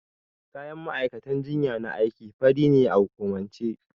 Kayan ma'aikatan jinya na aiki fari ne a hukumance.